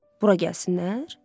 Bura gəlsinlər?